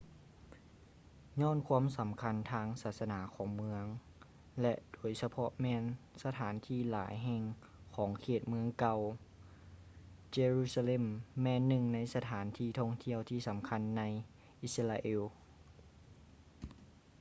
ຍ້ອນຄວາມສຳຄັນທາງສາສະໜາຂອງເມືອງ ແລະ ໂດຍສະເພາະແມ່ນສະຖານທີ່ຫຼາຍແຫ່ງຂອງເຂດເມືອງເກົ່າ jerusalem ແມ່ນໜຶ່ງໃນສະຖານທີ່ທ່ອງທ່ຽວທີ່ສຳຄັນໃນ israel